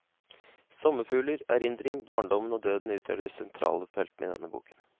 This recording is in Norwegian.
Sommerfugler, erindring, barndommen og døden utgjør de sentrale feltene i denne boken.